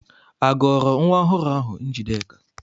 Agọrọ nwa ọhụrụ ahụ Njideka?